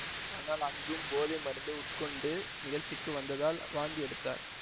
ஆனால் அங்கும் போதை மருந்து உட்கொண்டு நிகழ்ச்சிக்கு வந்ததால் வாந்தி எடுத்தார்